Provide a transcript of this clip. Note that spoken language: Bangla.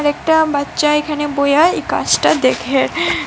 একটা বাচ্চা এখানে বইয়া এই কাজটা দেখে।